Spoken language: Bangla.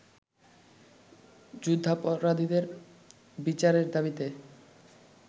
যুদ্ধাপরাধীদের বিচারের দাবিতে